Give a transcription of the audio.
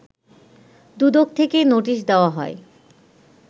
দুদক থেকে নোটিশ দেয়া হয়